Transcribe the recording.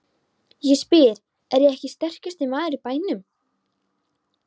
Ég spyr: Er ég ekki sterkasti maður í bænum?